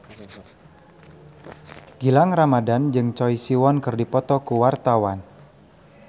Gilang Ramadan jeung Choi Siwon keur dipoto ku wartawan